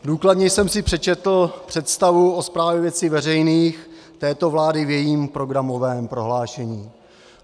Důkladně jsem si přečetl představu o správě věcí veřejných této vlády v jejím programovém prohlášení.